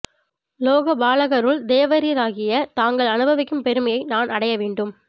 லோக பாலகருள் தேவரீராகிய தாங்கள் அனுபவிக்கும் பெருமையை நான் அடைய வேண்டும்